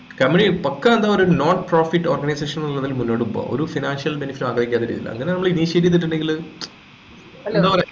company പക്കാ ന്ത പറയുഅ ഒരു non profit organisation ന്നു ഉള്ളതില് മുന്നോട് പോകാ ഒരു financial benefit ആഗ്രഹിക്കാത്ത രീതിയിൽ അങ്ങനെ നമ്മൾ initiate ചെയ്തിട്ടുണ്ടെങ്കില് മചം എന്താപറയാ